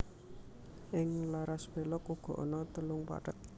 Ing laras pélog uga ana telung pathet